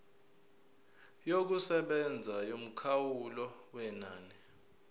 yokusebenza yomkhawulo wenani